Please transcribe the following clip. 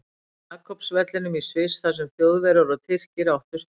Jakobs vellinum í Sviss þar sem Þjóðverjar og Tyrkir áttust við.